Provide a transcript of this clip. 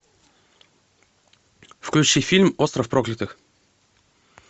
включи фильм остров проклятых